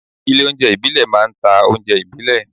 Ilé óúnjẹ ìbílẹ̀ máa ń ta oúnjẹ ìbílẹ̀